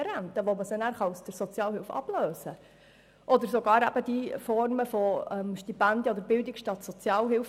Es sind AHV-Brückenrenten, mit welchen sie aus der Sozialhilfe abgelöst werden können, und sogar Formen von Stipendien oder Bildung statt Sozialhilfe.